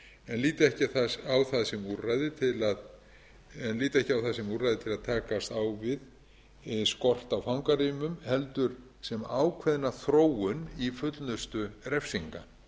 eftirlits en líta ekki á það sem úrræði til að takast á við skort á fangarýmum heldur sem ákveðna þróun fullnustu refsinga